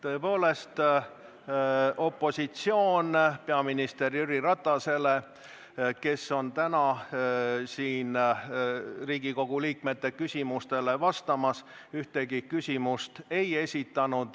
Tõepoolest, opositsioon peaminister Jüri Ratasele, kes on täna siin Riigikogu liikmete küsimustele vastamas, ühtegi küsimust ei esitanud.